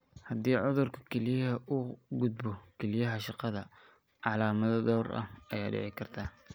Haddii cudurka kelyaha uu u gudbo kelyaha shaqada, calaamado dhowr ah ayaa dhici kara.